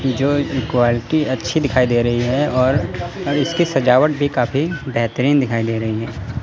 जो इक्वलिटी अच्छी दिखाई दे रही है और इसके सजावट भी काफी बेहतरीन दिखाई दे रही है।